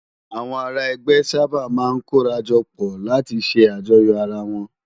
Awòn àrá ègbè sàbá má n kóràjòpò látì sè àjòyó àrá wòn